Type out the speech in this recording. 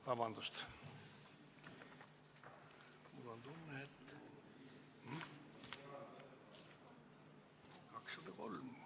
Vabandust!